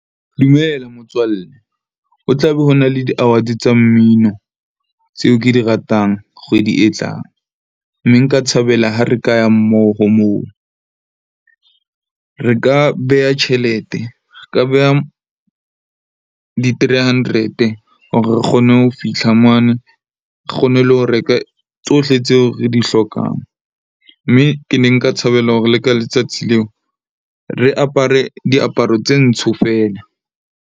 Dumela motswalle, ho tla be ho na le di-award-e tsa mmino tseo ke di ratang kgwedi e tlang. Mme nka thabela ha re ka ya mmoho moo. Re ka beha tjhelete, re ka beha di-three hundred-e hore re kgone ho fihla mane, kgone le ho reka tsohle tseo re di hlokang. Mme ke ne nka thabela hore le ka letsatsi leo, re apare diaparo tse ntsho fela.